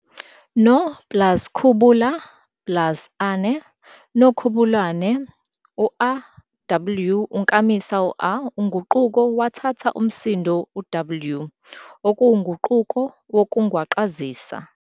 No plus khubula plus -ane Nokhubulaane a and gt, w, unkamisa "a" unguquko wathatha umsindo "w" okuyinguquko yokungwaqazisa.